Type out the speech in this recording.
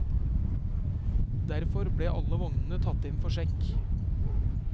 Derfor ble alle vognene tatt inn for sjekk.